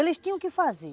Eles tinham que fazer.